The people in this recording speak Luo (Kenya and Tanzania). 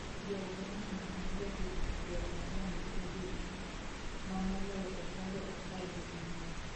jaugenyano mar jahigni pier ang'wen gi abirio, manoloyo okombe apar gi ang'wen